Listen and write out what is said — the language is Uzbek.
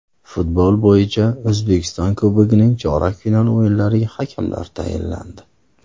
Futbol bo‘yicha O‘zbekiston Kubogining chorak final o‘yinlariga hakamlar tayinlandi.